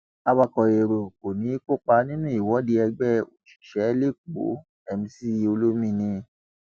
awakọ èrò kò ní í kópa nínú ìwọde ẹgbẹ òṣìṣẹ lẹkọọ mc olomini